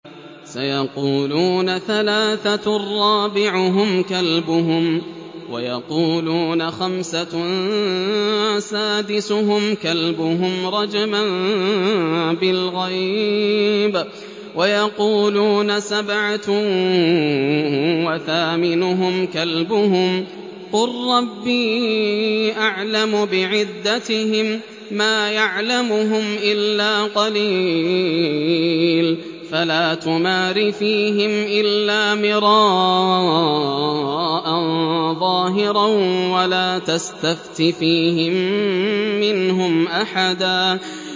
سَيَقُولُونَ ثَلَاثَةٌ رَّابِعُهُمْ كَلْبُهُمْ وَيَقُولُونَ خَمْسَةٌ سَادِسُهُمْ كَلْبُهُمْ رَجْمًا بِالْغَيْبِ ۖ وَيَقُولُونَ سَبْعَةٌ وَثَامِنُهُمْ كَلْبُهُمْ ۚ قُل رَّبِّي أَعْلَمُ بِعِدَّتِهِم مَّا يَعْلَمُهُمْ إِلَّا قَلِيلٌ ۗ فَلَا تُمَارِ فِيهِمْ إِلَّا مِرَاءً ظَاهِرًا وَلَا تَسْتَفْتِ فِيهِم مِّنْهُمْ أَحَدًا